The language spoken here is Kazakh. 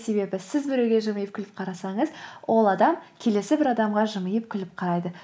себебі сіз біреуге жымиып күліп қарасаңыз ол адам келесі бір адамға жымиып күліп қарайды